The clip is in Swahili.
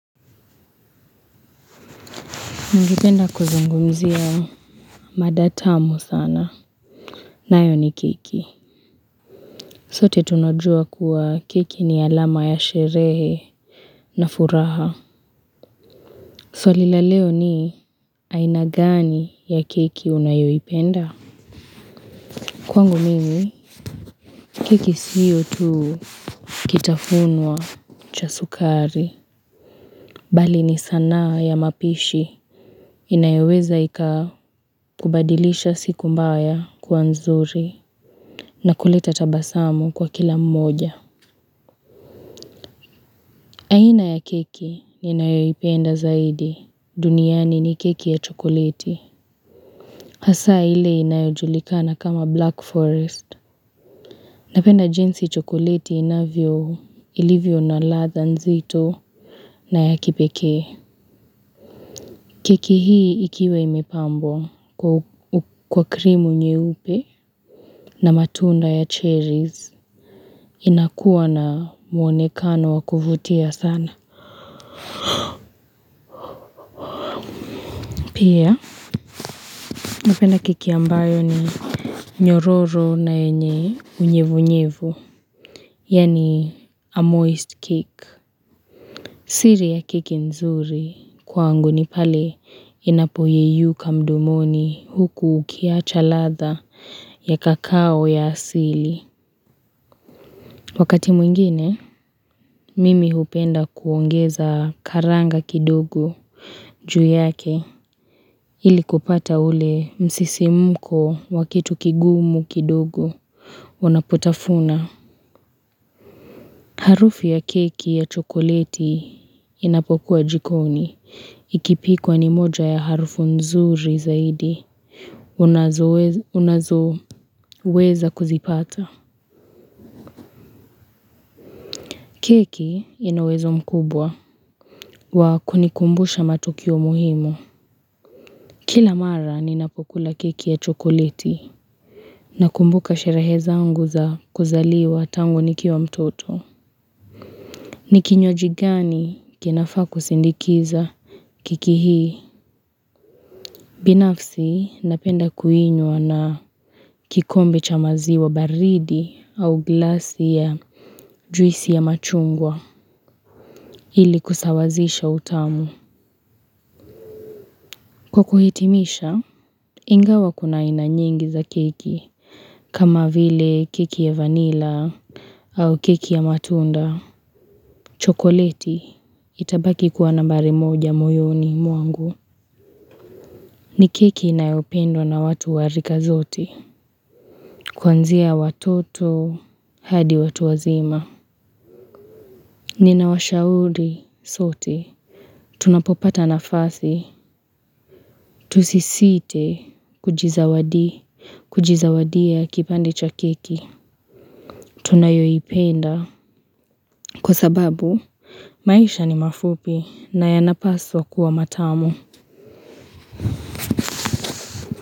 Ningeipenda kuzungumzia madatamu sana. Nayo ni kiki. Sote tunajua kuwa kiki ni alama ya sherehe na furaha. Swali la leo ni ainagani ya kiki unayoi penda? Kwangu mimi, keki siyo tu kitafunwa cha sukari. Bali ni sana ya mapishi. Inayoweza ika kubadilisha siku mbaya kuanzuri. Na kuleta tabasamu kwa kila mmoja aina ya keki ninayo ipenda zaidi duniani ni keki ya chokoleti Hasa ile inayojulikana kama Black Forest Napenda jinsi chokoleti inavyo ilivyo na ladha nzito na ya kipeke Keki hii ikiwe imepambo kwa krimu nyeupe na matunda ya cherries inakuwa na mwonekano wakuvutia sana Pia na keki ambayo ni nyororo na yenye unyevu unyevu, yani a moist kick. Siri ya keki nzuri kwangu ni pale inapoyeyuka mdomoni huku ukiacha ladha ya kakao ya asili. Wakati mwingine, mimi hupenda kuongeza karanga kidogo juu yake ili kupata ule msisimuko wa kitu kigumu kidogo. Unapotafuna Harufu ya keki ya chokoleti inapokuwa jikoni Ikipikwa ni moja ya harufu nzuri zaidi Unazo weza kuzipata Keki inauwezo mkubwa wa kunikumbusha matukio muhimu Kila mara ninapokula keki ya chokoleti Nakumbuka sherehe zangu za kuzaliwa tangu nikio wa mtoto Nikinywajio jigani kinafaku sindikiza Kekii hii, binafsi napenda kuinywa na kikombe cha maziwa baridi au glasi ya juisi ya machungwa ili kusawazisha utamu. Kwa kuhitimisha, ingawa kuna inana nyuengi za kiki, kama vile kiki ya vanilla au kiki ya matunda. Chokoleti, itabaki kuwa nambari moja moyoni mwangu. Ni keki inayopendo na watu warika zote. Kwanzia watoto hadi watu wazima. Nina washaudi sote. Tunapopata nafasi. Tusisite kujizawadi. Kujizawadia kipande cha kiki. Tunayoipenda. Kwa sababu, maisha ni mafupi na yanapaswa kua matamu.